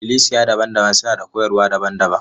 Ikklisiya daban-daban suna da koyarwa daban-daban.